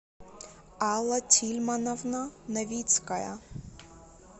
алла тильмановна новицкая